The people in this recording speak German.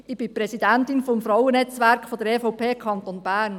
Ich bin Präsidentin des Frauennetzwerks der EVP Kanton Bern.